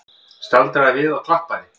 Staldraði við og klappaði!